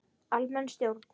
Almenn stjórn.